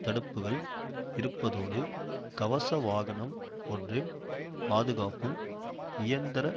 தடுப்புக்கள் இருப்பதோடு கவச வாகனம் ஒன்றின் பாதுகாப்பும் இயந்திரத்